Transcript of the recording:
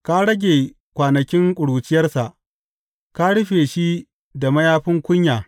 Ka rage kwanakin ƙuruciyarsa; ka rufe shi da mayafin kunya.